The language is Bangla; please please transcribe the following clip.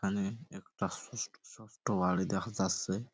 এখানে একটা শুষত সোট্ট বাড়ি দেখা যাসসে ।